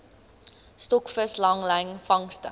stokvis langlyn vangste